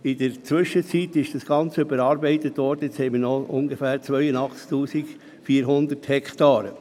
Inzwischen wurde das Ganze überarbeitet, und nun haben wir nur noch etwa 82 400 Hektaren.